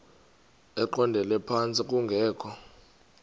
eqondele phantsi kungekho